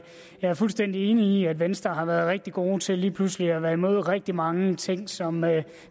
jeg er fuldstændig enig i at venstre har været rigtig gode til lige pludselig at være imod rigtig mange ting som